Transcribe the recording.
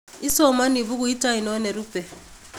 isomonii bukuit ainon nerupe